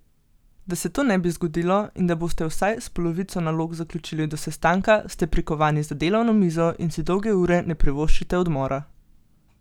Da se to ne bi zgodilo in da boste vsaj s polovico nalog zaključili do sestanka, ste prikovani za delavno mizo in si dolge ure ne privoščite odmora.